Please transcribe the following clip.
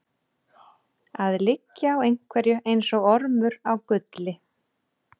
Að liggja á einhverju eins og ormur á gulli